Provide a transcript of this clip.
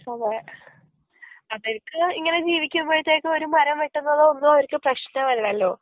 അതെ അവർക്ക് ഇങ്ങനെ ജീവിക്കാനായിട്ട് ഒരു മരം വെട്ടുന്നതൊന്നും അവർക്ക് പ്രശ്നമല്ലല്ലോ